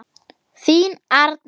Þín Arna.